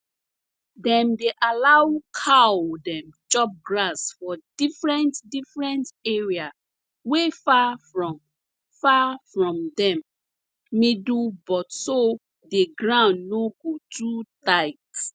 dem dey allow cow dem chop grass for different different area wey far from far from dem middle but so the ground no go too tight